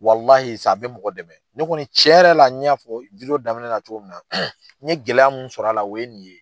a bɛ mɔgɔ dɛmɛ ne kɔni cɛn yɛrɛ la n y'a fɔ nin ko in daminɛ na cogo min na n ye gɛlɛya min sɔrɔ la o ye nin ye.